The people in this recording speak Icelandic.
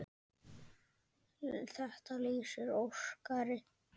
Þetta lýsir Óskari vel.